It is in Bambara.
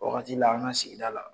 O wagati la an ka sigida la